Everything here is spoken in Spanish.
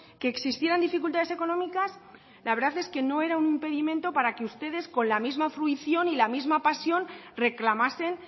que existieran dificultades económicas la verdad es que no era un impedimento para que ustedes con la misma fruición y la misma pasión reclamasen